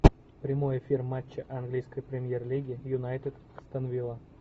прямой эфир матча английской премьер лиги юнайтед астон вилла